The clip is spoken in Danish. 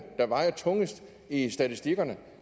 der vejer tungest i statistikkerne